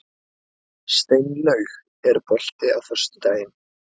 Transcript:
Steinlaug, er bolti á föstudaginn?